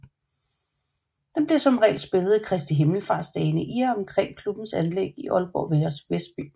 Den bliver som regel spillet i Kristi Himmelsfartsdagene i og omkring klubbens anlæg i Aalborg Vestby